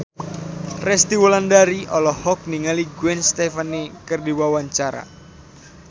Resty Wulandari olohok ningali Gwen Stefani keur diwawancara